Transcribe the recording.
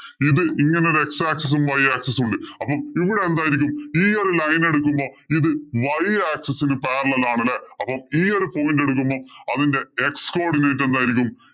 ഇത് ഇങ്ങനെ ഒരു x axis ഉം, y axis ഉം ഉണ്ട്. അപ്പൊ ഇവിടെ എന്തായിരിക്കും? ഈ ഒരു line എടുക്കുമ്പോ ഇത് y axis ഇന് parallel ആണ് അല്ലേ? അപ്പം ഈ ഒരു point എടുക്കുമ്പോ അതിന്‍റെ x codinate എന്തായിരിക്കും?